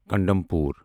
condemn پور